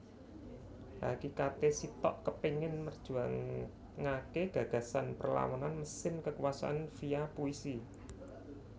Hakikate Sitok kepengin merjuangake gagasan perlawanan mesin kekuasaan via puisi